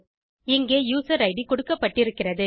இங்கே user ID கொடுக்கப்பட்டிருக்கிறது